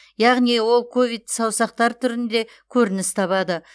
яғни ол ковидті саусақтар түрінде көрініс табады